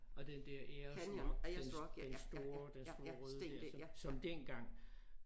Og den der Ayers rock den den store den store røde der som dengang